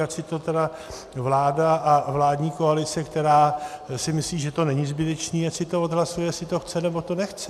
Ať si to tedy vláda a vládní koalice, která si myslí, že to není zbytečné, ať si to odhlasuje, jestli to chce, nebo to nechce.